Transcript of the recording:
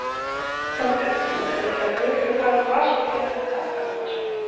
Þorbjörn: En viltu að flugvöllurinn fari úr Vatnsmýri eða verði áfram í Vatnsmýri?